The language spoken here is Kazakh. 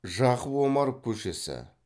жақып омаров көшесі